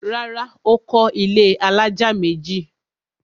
Rárá, Ó kọ́ ilẹ́ alájà méjì